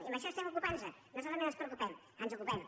i d’això estem ocupant nos no solament ens preocupem ens n’ocupem